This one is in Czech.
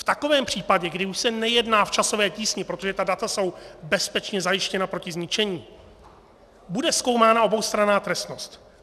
V takovém případě, kdy už se nejedná v časové tísni, protože ta data jsou bezpečně zajištěna proti zničení, bude zkoumána oboustranná trestnost.